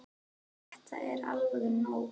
Þetta er alveg nóg!